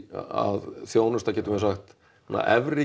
að þjónusta getum við sagt svona efri